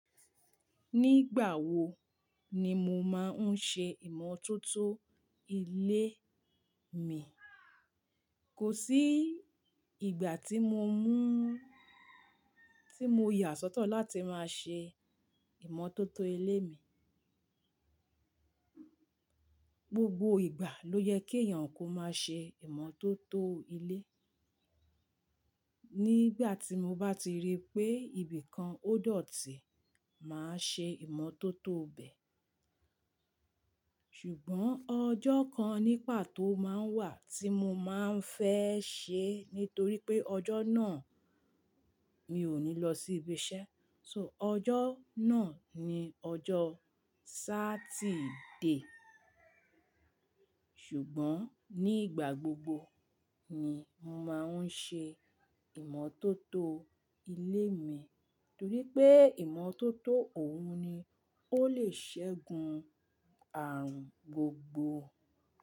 Nígbà wo ni mo máa ń ṣe ìmọ́tótó ilé mi, kò sí ìgbà tí mo mú-- tí mo yà sọ́tọ̀ láti máa ṣe ìmọ́tótó ilé mi. Gbogbo ìgbà ló yẹ kí èèyàn kó máa ṣe ìmọ́tótó ilé. Nígbà tí mo bá ti rí pé ibìkan ó dọ̀tí, màá ṣe ìmọ́tótó bẹ. Ṣùgbọ́n ọjọ́ kan ní pàtó máa ń wà tí mo máa ń fẹ́ ṣe nítorí pé ọjọ́ náà mi ò ní lọ sí ibi iṣẹ́. So ọjọ́ náà ni ọjọ́ Sátidé. Ṣùgbọ́n nígbà gbogbo ni mo máa ń ṣe ìmọ́tótó ilé mi nítorí pé ìmọ́tótó òun ni ó lè ṣẹ́gun ààrùn gbogbo.